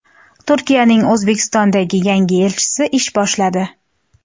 Turkiyaning O‘zbekistondagi yangi elchisi ish boshladi.